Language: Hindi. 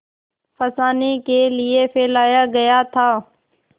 फँसाने के लिए फैलाया गया था